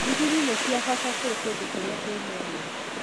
Ndigiri nĩ cia bata kũrĩ kũndũ kũrĩa kwĩna ũrĩmĩ